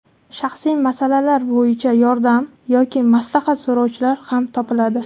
Shaxsiy masalalar bo‘yicha yordam yoki maslahat so‘rovchilar ham topiladi.